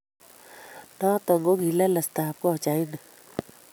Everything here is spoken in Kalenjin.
Noton kogi lelestab kochait nii.